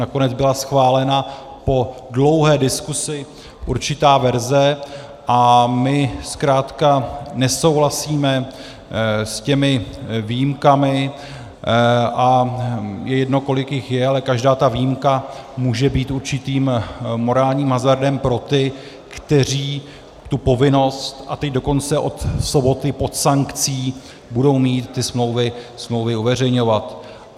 Nakonec byla schválena po dlouhé diskuzi určitá verze a my zkrátka nesouhlasíme s těmi výjimkami, a je jedno, kolik jich je, ale každá ta výjimka může být určitým morálním hazardem pro ty, kteří tu povinnost, a teď dokonce od soboty pod sankcí, budou mít ty smlouvy uveřejňovat.